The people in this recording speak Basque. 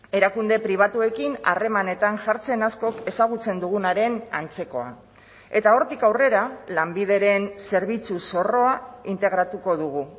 erakunde pribatuekin harremanetan jartzen askok ezagutzen dugunaren antzekoa eta hortik aurrera lanbideren zerbitzu zorroa integratuko dugu